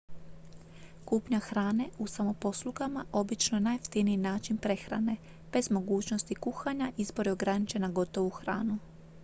kupnja hrane u samoposlugama obično je najjeftiniji način prehrane bez mogućnosti kuhanja izbor je ograničen na gotovu hranu